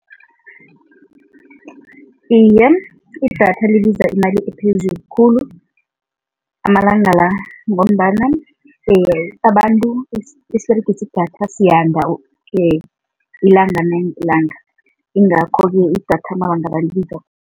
Iye, idatha libiza imali ephezulu khulu amalanga la ngombana abantu esiberegisa idatha siyanda ilanga nangelanga yingakho-ke idatha amalanga la libiza.